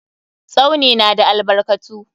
Tsauni na da albarkatu.